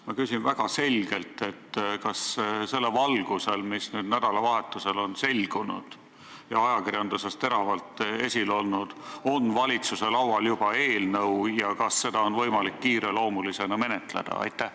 Ma küsin väga selgelt: kas selle valgusel, et nädalavahetusel on see probleem selgunud ja ajakirjanduses teravalt esil olnud, on valitsuse laual juba sellekohane eelnõu ja kas seda on võimalik kiireloomulisena menetleda?